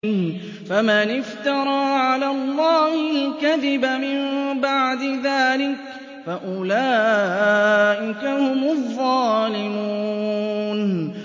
فَمَنِ افْتَرَىٰ عَلَى اللَّهِ الْكَذِبَ مِن بَعْدِ ذَٰلِكَ فَأُولَٰئِكَ هُمُ الظَّالِمُونَ